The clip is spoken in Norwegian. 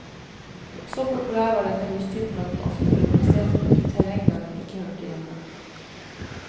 Så populær var denne hustypen at den ofte ble plassert i terreng der den ikke hørte hjemme.